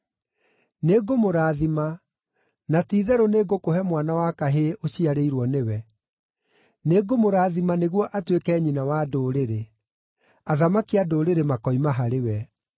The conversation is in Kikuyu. Nĩngũmũrathima, na ti-itherũ nĩngũkũhe mwana wa kahĩĩ ũciarĩirwo nĩwe. Nĩngũmũrathima nĩguo atuĩke nyina wa ndũrĩrĩ; athamaki a ndũrĩrĩ makoima harĩwe.”